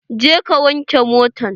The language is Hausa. Je ka wanke motan!